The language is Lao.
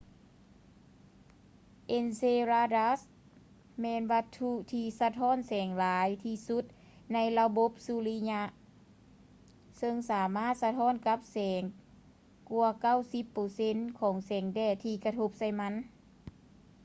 ເອັນເຊລາດັດສ໌ enceladus ແມ່ນວັດຖຸທີ່ສະທ້ອນແສງຫຼາຍທີ່ສຸດໃນລະບົບສຸລິຍະ ເຊິ່ງສາມາດສະທ້ອນກັບແສງກວ່າ 90 ເປີເຊັນຂອງແສງແດດທີ່ກະທົບໃສ່ມັນ